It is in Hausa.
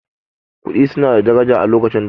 Kuɗi su na da daraja a lokacin da